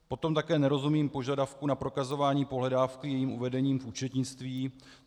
Potom také nerozumím požadavku na prokazování pohledávky jejím uvedením v účetnictví.